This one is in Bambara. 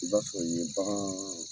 I b'a sɔrɔ yen bakan